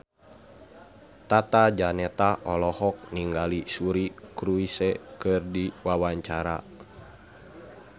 Tata Janeta olohok ningali Suri Cruise keur diwawancara